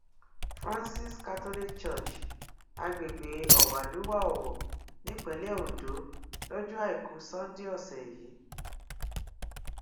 francis catholic church agbègbè ọwàlúwà owó nípínlẹ ondo lọjọ àìkú sanńdé ọsẹ yìí